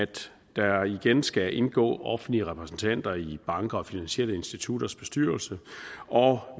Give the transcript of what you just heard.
der igen skal indgå offentlige repræsentanter i banker og finansielle institutters bestyrelse og